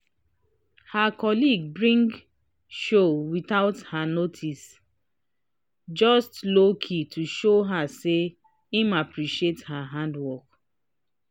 her colleague bring chow without her notice just lowkey to show her say im appreciate her hardwork